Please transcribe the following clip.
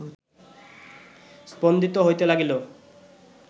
স্পন্দিত হইতে লাগিল